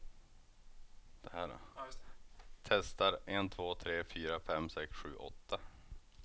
Testar en två tre fyra fem sex sju åtta.